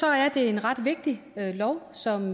er det en ret vigtig lov som